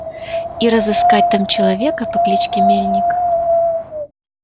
и разыскать там человека по кличке мельник